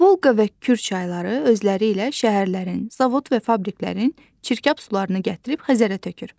Volqa və Kür çayları özləri ilə şəhərlərin, zavod və fabriklərin çirkab sularını gətirib Xəzərə tökür.